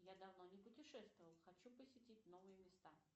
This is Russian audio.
я давно не путешествовал хочу посетить новые места